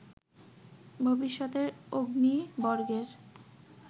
ভবিষ্যতের অগ্নি বর্গের